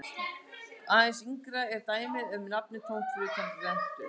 Aðeins yngra er dæmið um nafnið tómt fyrir utan rentu.